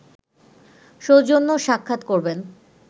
সৌজন্য সাক্ষাৎ করবেন